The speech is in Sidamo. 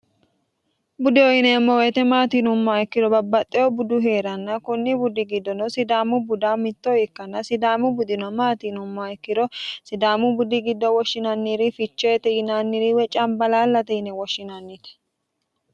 budeho yineemmo woyiite maatiinumma ikkiro babbaxxeho budu hee'ranna kunni buddi giddono sidaamu buda mitto ikkanna sidaamu budino maatiinumma ikkiro sidaamu buddi giddo woshshinanniri ficheete yinanniriwe cambalaallate yine woshshinanniti